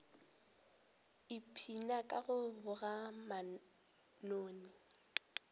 ipshina ka go boga manoni